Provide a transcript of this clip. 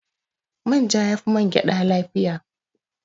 Manja ya fi man gyaɗa lafiya